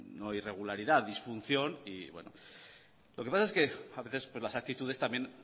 no irregularidad disfunción y lo que pasa es que a veces las actitudes también